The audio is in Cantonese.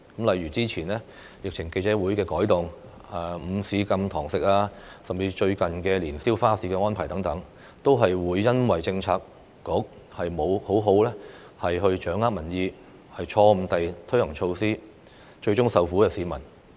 例如之前疫情簡報會的改動、禁止午市堂食、最近年宵花市的安排等，都因為相關政策局沒有好好掌握民意，誤推措施，最終受苦的是市民。